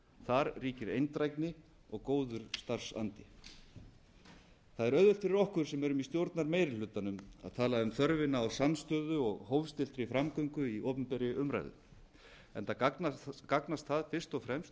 þar ríkir eindrægni og góður starfsandi það er auðvelt fyrir okkur sem erum í stjórnarmeirihlutanum að tala um þörfina á samstöðu og hófstilltri framgöngu í opinberri umræðu enda gagnast það fyrst og fremst